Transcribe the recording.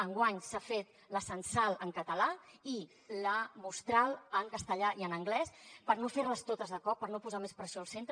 enguany s’ha fet la censal en català i la mostral en castellà i en anglès per no fer les totes de cop per no posar més pressió al centre